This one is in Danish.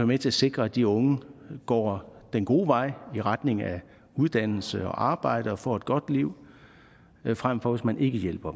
med til at sikre at de unge går den gode vej i retning af uddannelse og arbejde og få et godt liv frem for hvis man ikke hjælper